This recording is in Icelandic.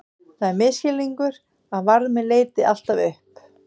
Það er misskilningur að varmi leiti alltaf upp.